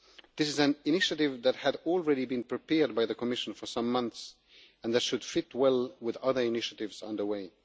This is an initiative that had already been prepared by the Commission for some months and that should fit well with other initiatives underway.